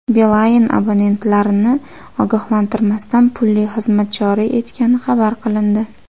Beeline abonentlarni ogohlantirmasdan pulli xizmat joriy etgani xabar qilindi.